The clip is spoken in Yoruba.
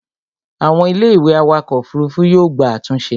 àwọn Ilé ìwé awakọ̀ òfurufú yóò gba àtúnṣe